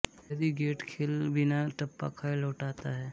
यदि गेंट खेल बिना टप्पा खाए लौटाता है